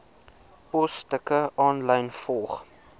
posstukke aanlyn volg